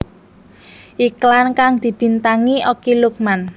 Iklan kang dibintangi Okky Lukman